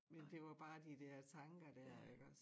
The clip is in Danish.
Men det var bare de dér tanker dér iggås